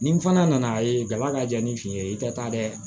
Ni n fana nana ye daba ka jaa ni fin ye i tɛ taa dɛ